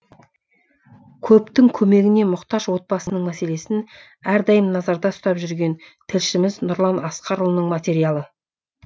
көптің көмегіне мұқтаж отбасының мәселесін әрдайым назарда ұстап жүрген тілшіміз нұрлан асқарұлының материалы